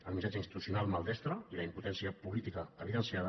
el missatge institucional maldestre i la impo·tència política evidenciada